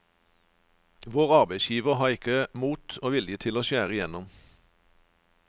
Vår arbeidsgiver har ikke hatt mot og vilje til å skjære igjennom.